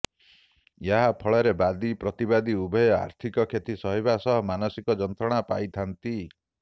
ଏହା ଫଳରେ ବାଦୀ ପ୍ରତିବାଦୀ ଉଭୟ ଆର୍ଥିକ କ୍ଷତି ସହିବା ସହ ମାନସିକ ଯନ୍ତ୍ରଣା ପାଇଥାନ୍ତି